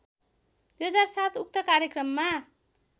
२००७ उक्त कार्यक्रममा